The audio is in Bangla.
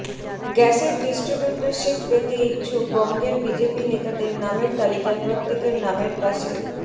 গ্যাসের ডিস্ট্রিবিউটরশিপ পেতে ইচ্ছুক বঙ্গের বিজেপি নেতাদের নামের তালিকায় প্রত্যেকের নামের পাশে